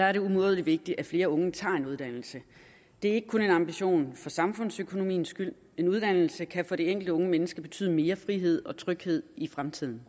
er det umådelig vigtigt at flere unge tager en uddannelse det ikke kun en ambition for samfundsøkonomiens skyld en uddannelse kan for det enkelte unge menneske betyde mere frihed og tryghed i fremtiden